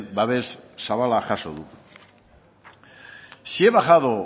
babes zabala jaso du si he bajado